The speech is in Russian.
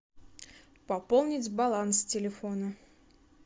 пополнить баланс телефона